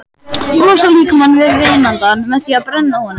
Losar líkamann við vínandann með því að brenna honum.